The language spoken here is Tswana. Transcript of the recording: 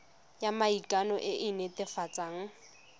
ya maikano e e netefatsang